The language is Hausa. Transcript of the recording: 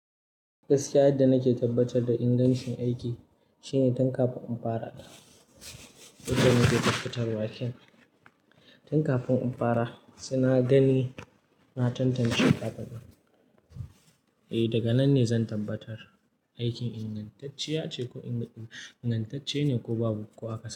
Gaskiya yadda nake tabbatar da ingancin aiki shine tun kafin in fara. Wata mai da fitar waken, tun kafin in fara suna gani na tantance ƙaɓaƙen. Eh daga nan ne zan tabbatar aikin ingantacciya ce ko ingantacce ne ko babu ko akwai.